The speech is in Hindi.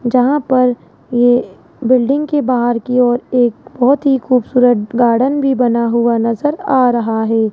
जहां पर ये बिल्डिंग के बाहर की ओर एक बहोत ही खूबसूरत गार्डन भी बना हुआ नजर आ रहा है।